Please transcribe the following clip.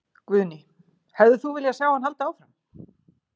Guðný: Hefðir þú vilja sjá hann halda áfram?